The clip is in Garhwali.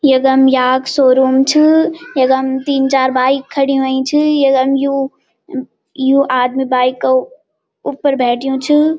यगम याक शोरूम च यकम तीन चार बाईक खडी ह्वोई च यकम यू यूं आदमी बाईक क उप्पर बैठ्यू च।